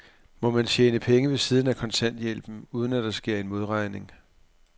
Må man tjene penge ved siden af kontanthjælpen, uden at der sker en modregning?